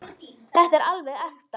Þetta er alveg ekta.